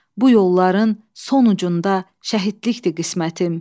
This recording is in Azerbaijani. Bu yolların sonucunda şəhidlikdir qismətim.